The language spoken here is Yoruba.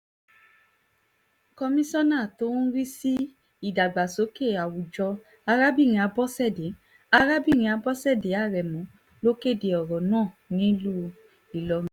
komisanna tó ń rí sí ìdàgbàsókè àwùjọ arábìnrin abọ̀ṣẹ̀dé arábìnrin abọ̀ṣẹ̀dé aremu ló kéde ọ̀rọ̀ náà nílùú ìlọrin